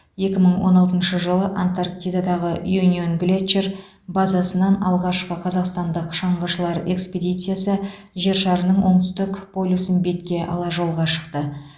екі мың он алтыншы жылы антарктидадағы юнион глетчер базасынан алғашқы қазақстандық шаңғышылар экспедициясы жер шарының оңтүстік полюсін бетке ала жолға шықты